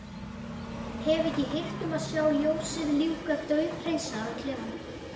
Hef ekki hirt um að sjá ljósið lífga dauðhreinsaðan klefann.